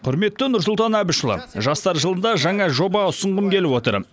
құрметті нұрсұлтан әбішұлы жастар жылында жаңа жоба ұсынғым келіп отыр